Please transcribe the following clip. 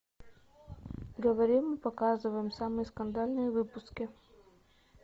говорим и показываем самые скандальные выпуски